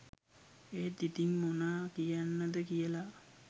ඒත් ඉතිං මොනා කියන්නද කියලා